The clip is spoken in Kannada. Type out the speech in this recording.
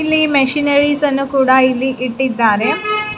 ಇಲ್ಲಿ ಮಷಿನರಿಸ್ ಅನ್ನು ಕೂಡ ಇಲ್ಲಿ ಇಟ್ಟಿದ್ದಾರೆ .